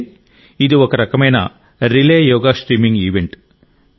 అంటే ఇది ఒక రకమైన రిలే యోగా స్ట్రీమింగ్ ఈవెంట్